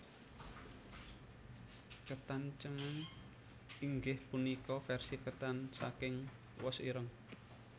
Ketan cemeng inggih punika versi ketan saking wos ireng